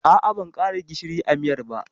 A'a, ban ƙara gishiri a miyar ba.